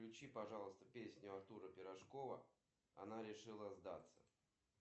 включи пожалуйста песню артура пирожкова она решила сдаться